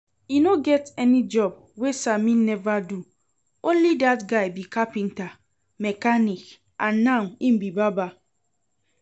E no get any job wey Sammy never do. Only dat guy be carpenter, mechanic, and now im be barber